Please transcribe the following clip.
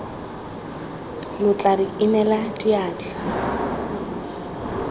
lo tla re inela diatla